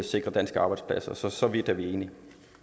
sikre danske arbejdspladser så så vidt er vi enige